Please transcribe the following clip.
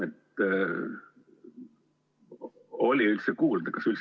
Oli üldse kuulda?